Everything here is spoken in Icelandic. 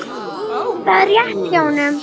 Það er rétt hjá honum.